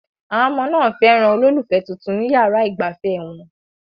Àwọn ọmọ náà fẹ́ràn olólùfẹ́ tuntun ní yàrá ìgbafẹ́ wọn